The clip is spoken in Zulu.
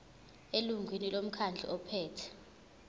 elungwini lomkhandlu ophethe